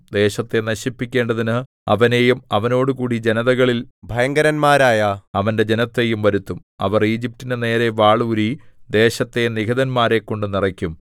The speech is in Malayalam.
ദേശത്തെ നശിപ്പിക്കേണ്ടതിന് അവനെയും അവനോടുകൂടി ജനതകളിൽ ഭയങ്കരന്മാരായ അവന്റെ ജനത്തെയും വരുത്തും അവർ ഈജിപ്റ്റിന്റെ നേരെ വാൾ ഊരി ദേശത്തെ നിഹതന്മാരെക്കൊണ്ടു നിറയ്ക്കും